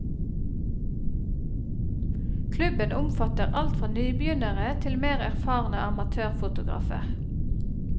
Klubben omfatter alt fra nybegynnere til mer erfarne amatørfotografer.